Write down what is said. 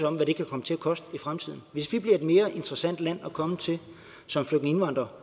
om hvad det kan komme til at koste i fremtiden hvis vi bliver et mere interessant land at komme til som flygtningindvandrer